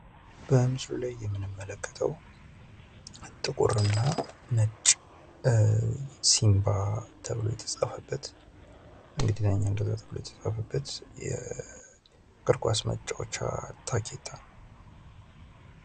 በምስሉ ላይ የምንመለከተው ነጭና ጥቁር ሲንባ ተብሎ የተጻፈበት በእንግሊዝኛ እንደዛ ተብሎ የተጻፈበት የእግርኳስ መጫወቻ ታኬታ ነው።